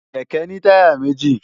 kẹ̀kẹ́ ní táyà méji